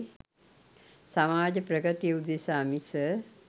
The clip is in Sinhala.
සමාජ ප්‍රගතිය උදෙසා මිස